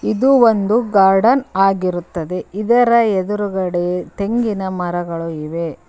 ಇದು ಒಂದು ಗಾರ್ಡನ್ ಆಗಿರುತ್ತದೆ ಇದರ ಎದುರುಗಡೆ ತೆಂಗಿನ ಮರಗಳು ಇವೆ.